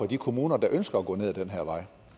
de kommuner der ønsker at gå ned ad den her vej